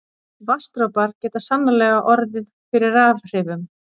Vatnsdropar geta sannarlega orðið fyrir rafhrifum.